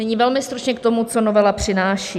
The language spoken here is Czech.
Nyní velmi stručně k tomu, co novela přináší.